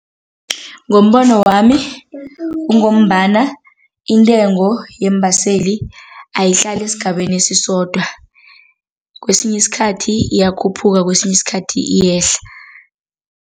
Ngombono wami, kungombana intengo yeembaseli ayihlali esigabeni esisodwa, kwesinye isikhathi iyakhuphuka kwesinye isikhathi iyehla.